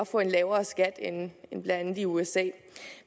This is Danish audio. få en lavere skat end blandt andet i usa